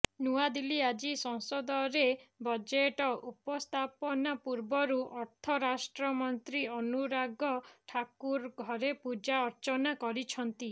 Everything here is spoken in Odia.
ନୂଆଦିଲ୍ଲୀ ଆଜି ସଂସଦରେ ବଜେଟ ଉପସ୍ଥାପନା ପୂର୍ବରୁ ଅର୍ଥ ରାଷ୍ଟ୍ରମନ୍ତ୍ରୀ ଅନୁରାଗ ଠାକୁର ଘରେ ପୂଜା ଅର୍ଚ୍ଚନା କରିଛନ୍ତି